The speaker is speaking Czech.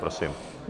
Prosím.